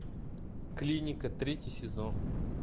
клиника третий сезон